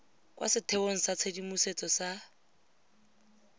kwa setheong sa tshedimosetso sa